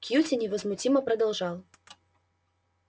кьюти невозмутимо продолжал